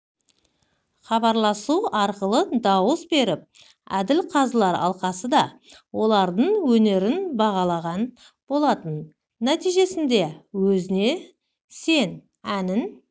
хабарласу арқылы дауыс беріп әділқазылар алқасы да олардың өнерін бағалаған болатын нәтижесінде өзіңе сен әнін